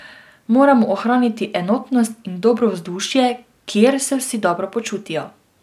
Moramo ohraniti enotnost in dobro vzdušje, kjer se vsi dobro počutijo.